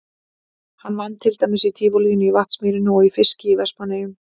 Hann vann til dæmis í Tívolíinu í Vatnsmýrinni og í fiski í Vestmannaeyjum.